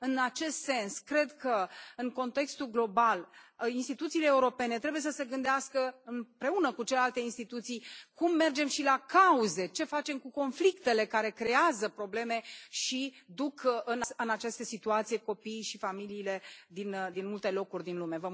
În acest sens cred că în contextul global instituțiile europene trebuie să se gândească împreună cu celelalte instituții cum mergem și la cauze, ce facem cu conflictele care creează probleme și duc în această situație copiii și familiile din multe locuri din lume.